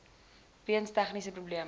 weens tegniese probleme